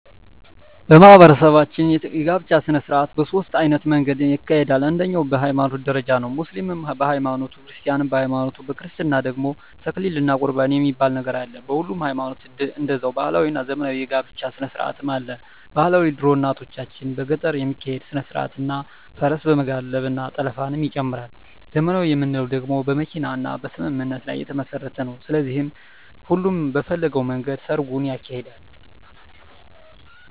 በማህበረሰባችን የጋብቻ ሰነስርአት በ ሶስት አይነት መንገድ ይካሄዳል አንደኛዉ በ ሀይማኖት ደረጃ ነዉ ሙስሊምም በ ሀይማኖቱ ክርስቲያንም በሀይማኖቱ በክርስትና ደግሞ ተክሊል እና ቁርባን የሚባል ነገር አለ በሁሉም ሀይማኖት ደዛዉ ባህላዊ እና ዘመናዊ የ ጋብቻ ስነስርአትም አለ ...ባህላዊ ድሮ እናቶቻችን በገጠር የሚካሄድ ስነስርአት እና ፈረስ በመጋለብ እና ጠለፍንም ይጨምራል .........ዘመናዊ የምንለዉ ደግሞ በመኪና እና በስምምነት ላይ የተመስረተ ነዉ ስለዚህ ሁሉም በፈለገዉ መንገድ ሰርጉን ያካሂዳል።